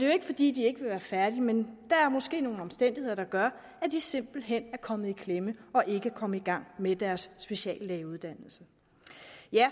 jo ikke fordi de ikke vil være færdige men der er måske nogle omstændigheder der gør at de simpelt hen er kommet i klemme og ikke er kommet i gang med deres speciallægeuddannelse